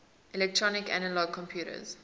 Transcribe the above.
electronic analog computers